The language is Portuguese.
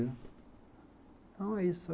Então, é isso.